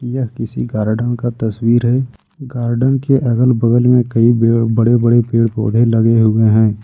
यह किसी गार्डन का तस्वीर है गार्डन के अगल बगल में कई बड़े बड़े पेड़ पौधे लगे हुए हैं।